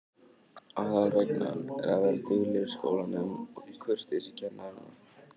Aðalreglan er að vera duglegur í skólanum og kurteis við kennarana.